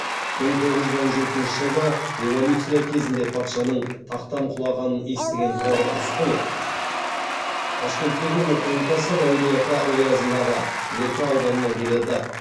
мың тоғыз жүз он жетінші жылғы революция кезінде патшаның тақтан құлағанын естіген тұрар рысқұлов ташкенттегі оқуын тастап әулиеата оязындағы меркі ауданына келеді